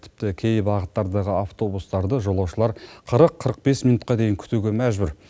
тіпті кей бағыттардағы автобустарды жолаушылар қырық қырық бес минутқа дейін күтуге мәжбүр